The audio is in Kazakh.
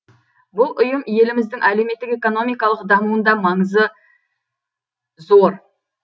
бұл ұйым еліміздің әлеуметтік экономикалық дамуында маңызы зор